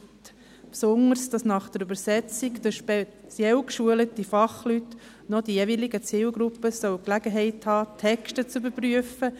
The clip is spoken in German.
Insbesondere erachten wir es als zu zeitaufwendig und umständlich, dass nach den für die Übersetzung speziell geschulten Fachleuten auch noch die jeweiligen Zielgruppen Gelegenheit haben sollen, Texte zu überprüfen.